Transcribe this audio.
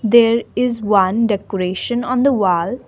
there is one decoration on the wall.